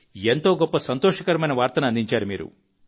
ఎంతో గొప్ప సంతోషకరమైన వార్తను అందించారు మీరు